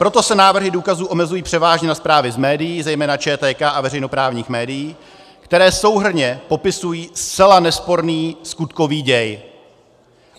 Proto se návrhy důkazů omezují převážně na zprávy z médií, zejména ČTK a veřejnoprávních médií, které souhrnně popisují zcela nesporný skutkový děj.